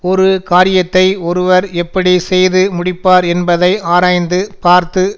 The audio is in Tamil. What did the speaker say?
ஒரு காரியத்தை ஒருவர் எப்படி செய்து முடிப்பார் என்பதை ஆராய்ந்து பார்த்து